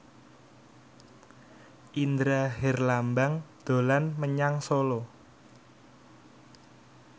Indra Herlambang dolan menyang Solo